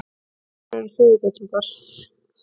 Fáir eru föðurbetrungar.